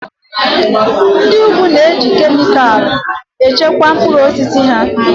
Ndị úgwù na-eji kemịkalụ echekwa mkpụrụ osisi ha